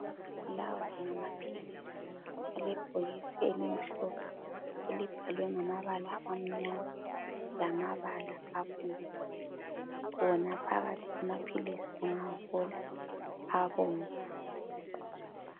Lawa ngamaphilisi alebhokisi elimhlophe elibhalwe ngamabala amnyama lamabala abomvu, wona phakathi amaphilisi ungawavula abomvu.